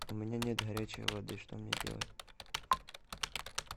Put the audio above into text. у меня нет горячей воды что мне делать